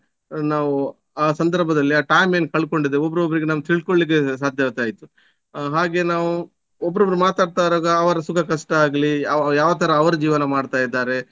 ನಾವು ಆ ಸಂದರ್ಭದಲ್ಲಿ ಆ time ಏನು ಕಳ್ಕೊಂಡಿದ್ದೇವೆ ಒಬ್ರೊಬ್ರಿಗೆ ನಮಿಗ್ ತಿಳ್ಕೊಲ್ಲಿಕೆ ಸಾಧ್ಯವಾಗ್ತಾ ಇತ್ತು. ಹಾಗೆ ನಾವು ಒಬ್ರಬ್ರು ಮಾತಾಡ್ತಾ ಇರುವಾಗ ಅವರ ಸುಖ ಕಷ್ಟಾಗ್ಲಿ ಯಾವ ತರ ಅವರ ಜೀವನ ಮಾಡ್ತಾ ಇದ್ದಾರೆ.